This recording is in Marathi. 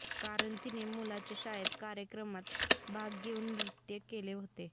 कारण तिने मुलाच्या शाळेत कार्यक्रमात भाग घेऊन नृत्य केले होते